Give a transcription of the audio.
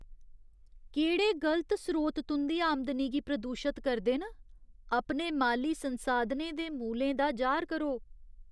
केह्ड़े गलत स्रोत तुं'दी आमदनी गी प्रदूशत करदे न? अपने माली संसाधनें दे मूलें दा जाह्‌र करो।